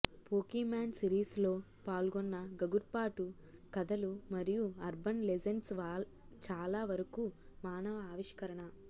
Pokemon సిరీస్లో పాల్గొన్న గగుర్పాటు కథలు మరియు అర్బన్ లెజెండ్స్ చాలా వరకు మానవ ఆవిష్కరణ